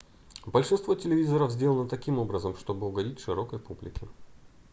большинство телевизоров сделано таким образом чтобы угодить широкой публике